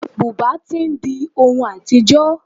Bùbá tí ń di ohun àtijọ́.